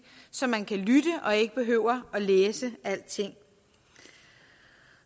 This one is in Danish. så man kan lytte og ikke behøver læse alting